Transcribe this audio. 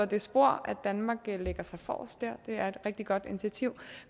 det spor at danmark lægger sig forrest dér det er et rigtig godt initiativ